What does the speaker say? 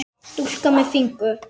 Stúlka með fingur.